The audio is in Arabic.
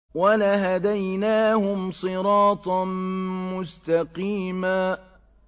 وَلَهَدَيْنَاهُمْ صِرَاطًا مُّسْتَقِيمًا